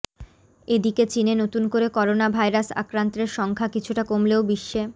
এদিকে চিনে নতুন করে করোনা ভাইরাসে আক্রান্তের সংখ্যা কিছুটা কমলেও বিশ্বে